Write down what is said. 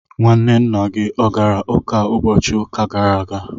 nwanne nna gị ọ gara ụka ụbọchị ụka gara aga